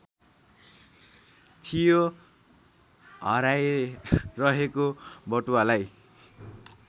थियो हराइरहेको बटुवालाई